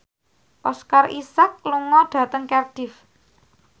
Oscar Isaac lunga dhateng Cardiff